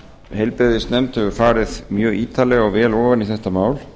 heilbrigðisnefnd hefur farið mjög ítarlega og vel ofan í þetta mál